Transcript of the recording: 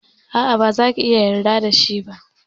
A'a, baza ki iya yarda da shi ba.